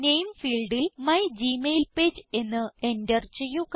നാമെ ഫീൽഡിൽ മൈഗ്മെയിൽപേജ് എന്ന് എന്റർ ചെയ്യുക